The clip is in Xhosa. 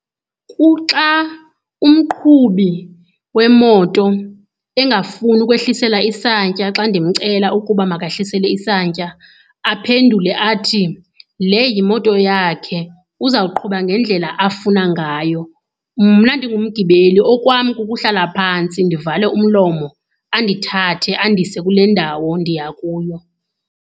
Kuxa umqhubi wemoto engafuni ukwehlisela isantya. Xa ndimcela ukuba makehlisele isantya aphendule athi, le yimoto yakhe uzawuqhubeka ngendlela afuna ngayo. Mna mdingumgibeli okwam kukuhlala phantsi ndivale umlomo, andithathe andise kule ndawo ndiya kuyo.